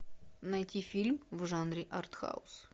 найти фильм в жанре артхаус